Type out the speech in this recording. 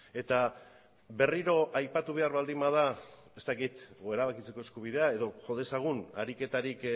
eta berriro aipatu behar baldin bada ez dakit edo erabakitzeko eskubidea edo jo dezagun ariketarik